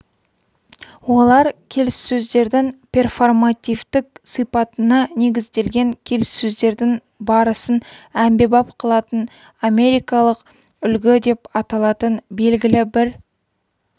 олар келіссөздердің перформативтік сипатына негізделген келіссөздердің барысын әмбебап қылатын америкалық үлгі деп аталатын белгілі бір